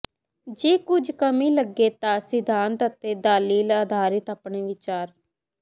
ਜੇ ਕੁੱਝ ਕਮੀ ਲੱਗੇ ਤਾਂ ਸਿਧਾਂਤ ਅਤੇ ਦਲੀਲ ਅਧਾਰਿਤ ਆਪਣੇ ਵਿਚਾਰ